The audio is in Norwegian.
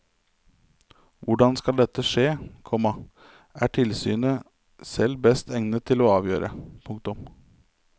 Hvordan dette skal skje, komma er tilsynet selv best egnet til å avgjøre. punktum